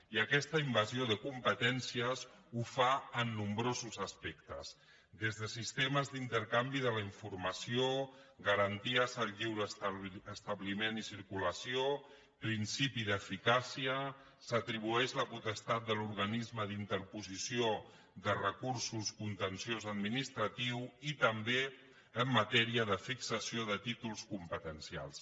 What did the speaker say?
i aquesta invasió de competències la fa en nombrosos aspectes des de sistemes d’intercanvi de la informació garanties al lliure establiment i circulació principi d’eficàcia s’atribueix la potestat de l’organisme d’interposició de recursos contenciosos administratius i també en matèria de fixació de títols competencials